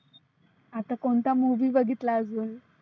आता कोणता movie बघितला अजुन?